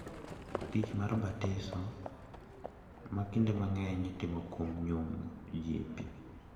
Tich mar batiso, ma kinde mang’eny itimo kuom nyumo ji e pi ,